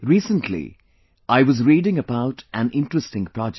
Recently I was reading about an interesting project